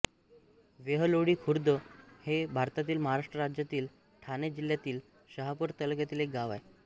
वेहलोळी खुर्द हे भारतातील महाराष्ट्र राज्यातील ठाणे जिल्ह्यातील शहापूर तालुक्यातील एक गाव आहे